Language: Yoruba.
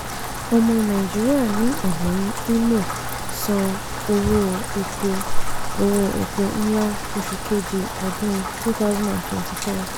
ọmọ nàìjíríà ní ebonyi imo san owó epo owó epo ńlá oṣù kejì ọdún 2023.